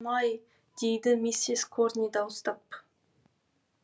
май дейді миссис корни дауыстап